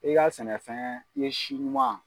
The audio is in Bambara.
I ka sɛnɛfɛn i ye si ɲuman